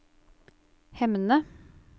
Hemne